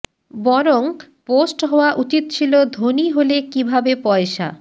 বরং পোস্ট হওয়া উচিত ছিল ধনী হলে কীভাবে পয়সা